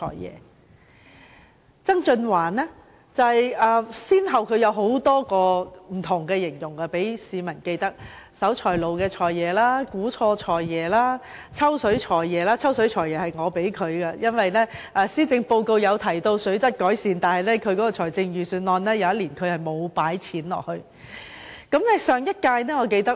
至於曾俊華先生，則先後給市民留下不同印象，例如"守財奴財爺"、"估錯數財爺"，而我給他的外號則是"抽水財爺"，因為某年的施政報告提到水質改善，但他卻未有在預算案中相應作出撥款。